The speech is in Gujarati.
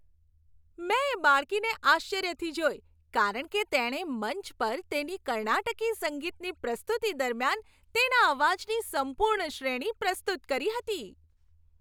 મેં એ બાળકીને આશ્ચર્યથી જોઈ કારણ કે તેણે મંચ પર તેની કર્ણાટકી સંગીતની પ્રસ્તુતિ દરમિયાન, તેના અવાજની સંપૂર્ણ શ્રેણી પ્રસ્તુત કરી હતી.